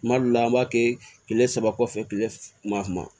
Kuma dɔw la an b'a kɛ kile saba kɔfɛ kile kuma